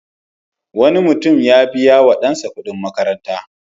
Wani mutum ya biya wa ɗansa kuɗin makaranta.